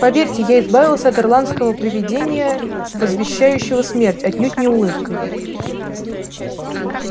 поверьте я избавился от ирландского привидения возвещающего смерть отнюдь не улыбкой